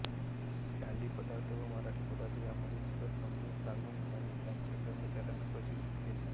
कानडी पदार्थ व मराठी पदार्थ यांमधील फरक समजावून सांगून त्यांनी त्यांच्या कर्मचाऱ्यांना प्रशिक्षित केले